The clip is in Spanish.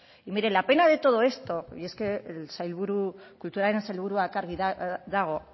y mire la pena de todo esto y es que el sailburu kulturaren sailburua argi dago